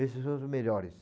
Esses são os melhores.